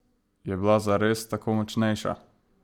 Je bila zares tako močnejša?